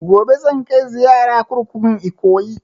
Gobe zan kai ziyara kurkukun Ikoyi